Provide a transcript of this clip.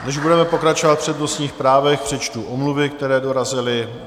Než budeme pokračovat v přednostních právech, přečtu omluvy, které dorazily.